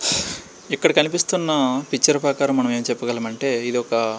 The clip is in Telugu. ఇక్కడ కనిపిస్తున్నా పిక్చర్ ప్రకారం మనం ఎమ్ చెప్పగలం అంటే ఇది ఒక --